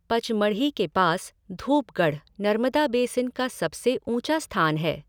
पचमढ़ी के पास धूपगढ़, नर्मदा बेसिन का सबसे ऊँचा स्थान है।